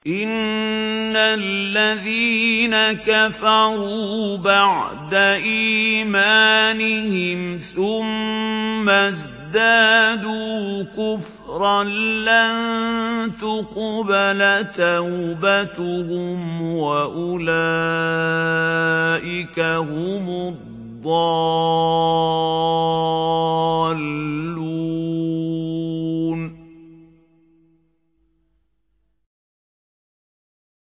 إِنَّ الَّذِينَ كَفَرُوا بَعْدَ إِيمَانِهِمْ ثُمَّ ازْدَادُوا كُفْرًا لَّن تُقْبَلَ تَوْبَتُهُمْ وَأُولَٰئِكَ هُمُ الضَّالُّونَ